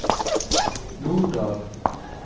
Norddal